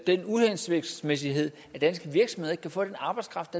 den uhensigtsmæssighed at danske virksomheder ikke kan få den arbejdskraft